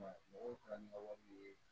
Mɔgɔw ka nin wale ye